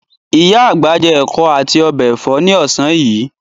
Ìyá àgbà jẹ ẹ̀kọ́ àti ọbẹ̀ ẹ̀fọ́ ní ọ̀sán yìí.